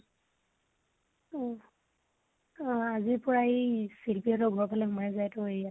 অ অ আজিৰ পৰাই ই শিল্পী হতৰ ফালে সোমাই যাই টো area ত